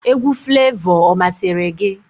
Egwu Flevọ ọ masịrị gị?